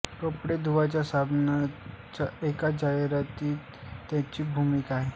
कपडे धुण्याच्या साबणाच्या एका जाहिरातीतही त्यांची भूमिका आहे